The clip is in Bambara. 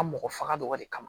A mɔgɔ faga dɔgɔ wale kama